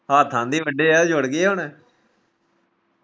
ਹੱਥ ਇੰਨੇ ਵੱਢੇ ਐ ਜੁੜ ਗਏ ਹੁਣ